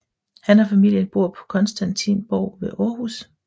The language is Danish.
Han og familien bor på Constantinsborg ved Aarhus